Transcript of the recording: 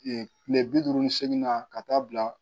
kile bi duuru ni seegin na ka taa bila